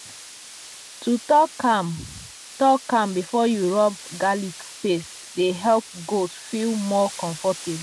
to talk calm talk calm before you rub garlic paste dey help goats feel more comfort